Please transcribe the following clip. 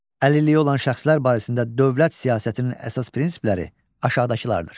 Əlilliyi olan şəxslər barəsində dövlət siyasətinin əsas prinsipləri aşağıdakılardır.